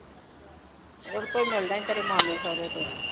ਉਹਦੇ ਕੋਲ ਹੀ ਮਿਲਣਾ ਤੇਰੇ ਮਾਮੇ ਸੌਹਰੇ ਕੋਲੋ ਹੀ